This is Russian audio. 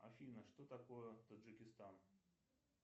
афина что такое таджикистан